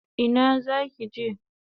Ina zaki je?